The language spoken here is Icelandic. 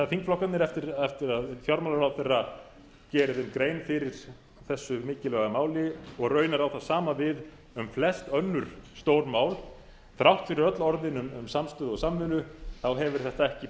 þingflokkarnir eftir að fjármálaráðherra geri þeim grein fyrir þessu mikilvæga máli og raunar á það sama við um flest önnur stór mál þrátt fyrir öll orðin um samstöðu og samvinnu hefur þetta ekki